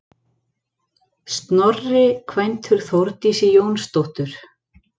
Snorri kvæntur Þórdísi Jónsdóttur.